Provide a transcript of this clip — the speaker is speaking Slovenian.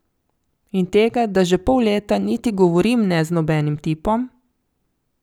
In tega, da že pol leta niti govorim ne z nobenim tipom?